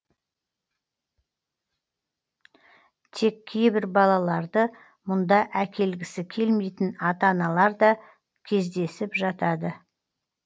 тек кейбір балаларды мұнда әкелгісі келмейтін ата аналар да кездесіп жатады